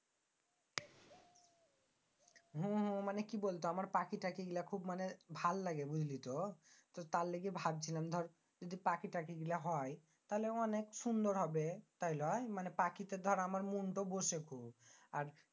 হ্যাঁ হ্যাঁ মানি কি বলত আমার পাখি টাখি মানি খুব ভাললাগে বুঝলিতো? তার লাইজ্ঞে ভাবছিলাম দর পাখি টাখি এই গুলা হয় তাইলে অনেক সুন্দর হবে তাই লয়? মানি পাখিতে দর আমার মনটো বসে খুব। আর